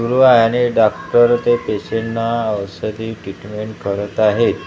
सुरु आहे आणि डॉक्टर ते पेशंटना औषधी ट्रिटमेंट करत आहेत .